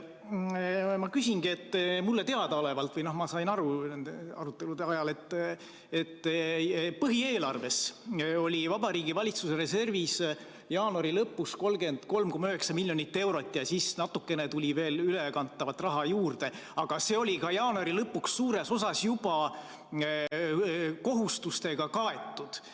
Ma sain nende arutelude ajal aru, et põhieelarves oli Vabariigi Valitsuse reservis jaanuari lõpus 33,9 miljonit eurot ja siis natuke tuli veel ülekantavat raha juurde, aga see oli jaanuari lõpuks suures osas juba kohustustega kaetud.